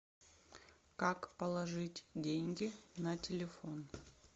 как положить деньги на телефон